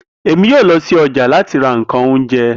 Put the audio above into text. Emi yoo lọ si ọja lati ra nkan ounjẹ